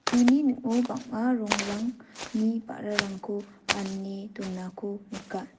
uni ning·o bang·a rongrangni ba·rarangko ane donako nika.